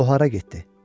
O hara getdi?